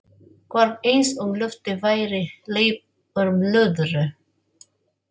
Hvarf eins og lofti væri hleypt úr blöðru.